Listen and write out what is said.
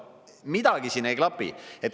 Midagi siin ei klapi.